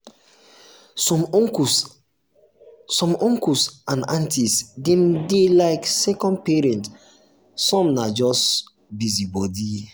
some uncle and uncle and aunty dem dey like second parents some na just busybody.